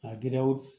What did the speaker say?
A giriyaw